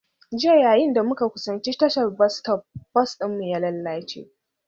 Jiya, yayin da muka kusanci tashar bas bas ɗinmu ya lalace